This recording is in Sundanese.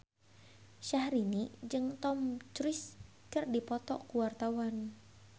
Syahrini jeung Tom Cruise keur dipoto ku wartawan